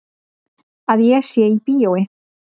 Að ég sé í bíói.